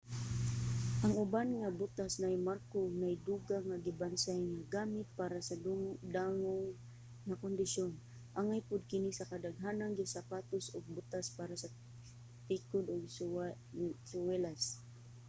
ang uban nga butas naay marko ug naay dugang nga gibansay nga gamit para sa dangog nga kondisyon angay pod kini sa kadaghanang sapatos ug butas para sa tikod ug suwelas